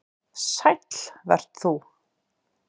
Sæll vert þú.